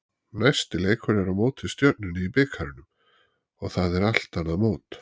Næsti leikur er á móti Stjörnunni í bikarnum og það er allt annað mót.